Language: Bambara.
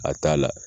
A t'a la